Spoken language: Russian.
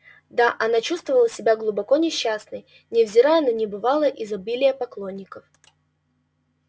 да она чувствовала себя глубоко несчастной невзирая на небывалое изобилие поклонников